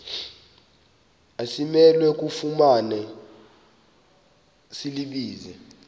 asimelwe kufumana silibize